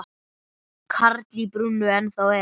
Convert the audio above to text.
Karl í brúnni ennþá er.